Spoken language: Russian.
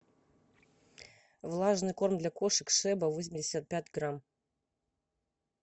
влажный корм для кошек шеба восемьдесят пять грамм